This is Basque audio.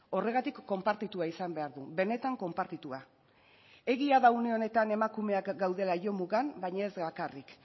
horregatik konpartitua izan behar du benetan konpartitua egia da une honetan emakumeak gaudela jomugan baina ez bakarrik